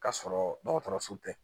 Ka sɔrɔ dɔgɔtɔrɔso tɛ